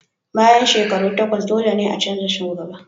Bayan shekaru takwas, dole ne a canza shugaba.